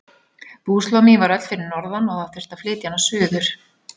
Búslóð mín var öll fyrir norðan og það þurfti að flytja hana suður.